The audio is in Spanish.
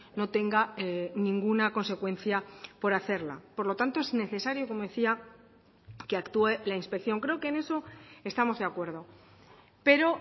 no tenga ninguna consecuencia por hacerla por lo tanto es necesario como decía que actúe la inspección creo que en eso estamos de acuerdo pero